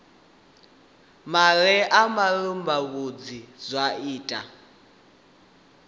mela ha malelebvudzi zwa ita